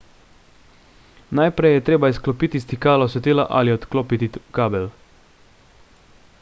najprej je treba izklopiti stikalo svetila ali odklopiti kabel